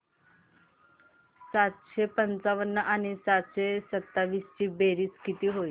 सातशे पंचावन्न आणि सातशे सत्तावीस ची बेरीज किती होईल